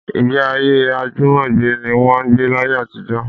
Ìgbéayé àjùmọ̀gbé ní wọ́n ń gbé láyé àtijọ́